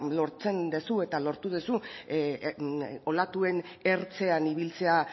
lortzen duzu eta lortu duzu olatuen ertzean ibiltzea